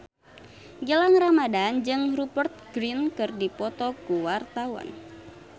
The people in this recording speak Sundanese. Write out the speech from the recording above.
Gilang Ramadan jeung Rupert Grin keur dipoto ku wartawan